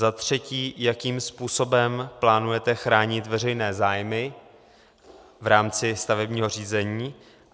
Za třetí, jakým způsobem plánujete chránit veřejné zájmy v rámci stavebního řízení.